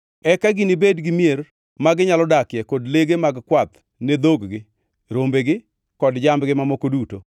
Eka ginibed gi mier ma ginyalo dakie kod lege mag kwath ne dhog-gi, rombegi kod jambgi mamoko duto.